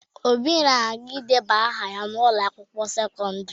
Obi na-aga ideba aha ya n'ụlọ akwụkwo sekọndịrị.